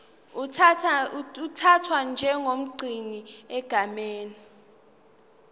uthathwa njengomgcini egameni